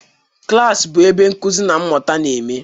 Klas bụ ebe nkuzi na mmụta na-eme.